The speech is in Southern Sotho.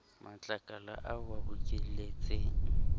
matlakala ao o a bokelletseng